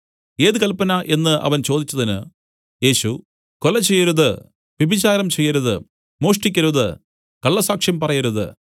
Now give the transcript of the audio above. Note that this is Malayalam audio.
ഏത് കല്പന എന്നു അവൻ ചോദിച്ചതിന് യേശു കൊല ചെയ്യരുത് വ്യഭിചാരം ചെയ്യരുത് മോഷ്ടിക്കരുത് കള്ളസാക്ഷ്യം പറയരുത്